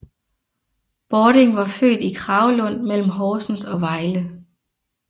Bording var født i Kragelund mellem Horsens og Vejle